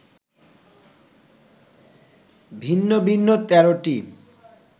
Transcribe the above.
ভিন্ন ভিন্ন ১৩টি